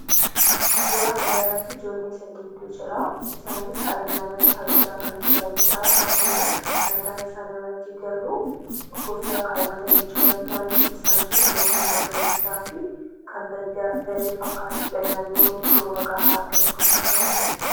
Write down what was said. Suuraa kana irratti ijoollee sadiitu jira. Isaanis ayyaana kabajaa kan jiranidha. Akkuma mataa isaanii irratti garuu kuffiyyaa kaawwatanii jiranii. Naannoo isaan jiran naannoo magariisaa fi kan baddaa daree fakkaatudha naannoo rooba gahaa argatu kan fakkaatudha.